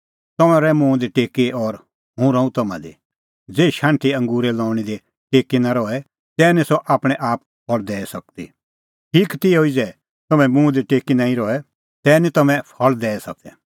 तम्हैं रहा मुंह दी टेकी और हुंह रहूं तम्हां दी ज़ेही शाण्हटी अंगूरे लऊंणी दी टेकी नां रहे तै निं सह आपणैं आप फल़ दैई सकदी ठीक तिहअ ई ज़ै तम्हैं मुंह दी टेकी नांईं रहे तै निं तम्हैं फल़ दैई सकदै